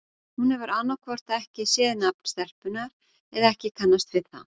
Hún hefur annað hvort ekki séð nafn stelpunnar eða ekki kannast við það.